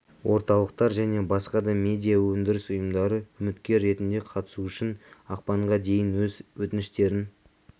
орталықтар және басқа да медиа өндіріс ұйымдары үміткер ретінде қатысу үшін ақпанға дейін өз өтініштерін